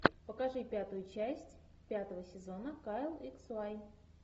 покажи пятую часть пятого сезона кайл икс уай